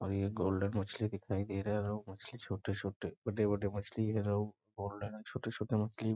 और ये गोल्डन मछली दिखाई दे रहा है और ये मछली छोटे-छोटे बड़े-बड़े मछली है और गोल्डन छोटे-छोटे मछली --